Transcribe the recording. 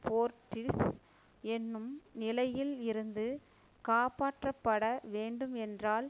போர்ட்டிஸ் என்னும் நிலையில் இருந்து காப்பாற்றப்பட வேண்டும் என்றால்